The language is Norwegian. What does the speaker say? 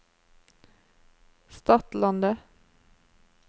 Stadlandet